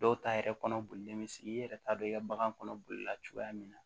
Dɔw ta yɛrɛ kɔnɔ bolilen bɛ sigi i yɛrɛ t'a dɔn i ka bagan kɔnɔ bolila cogoya min na